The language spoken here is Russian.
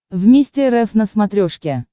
вместе рф на смотрешке